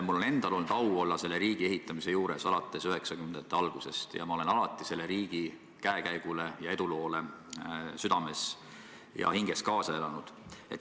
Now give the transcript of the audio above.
Mul endal on olnud au olla selle riigi ehitamise juures alates 1990-ndate algusest ning ma olen alati selle riigi käekäigule ja eduloole südames ja hinges kaasa elanud.